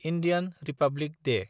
Indian republic Day